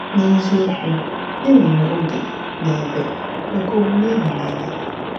N’eziokwu, e nwere oge na ebe maka omume ịhụnanya.